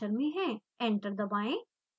enter दबाएं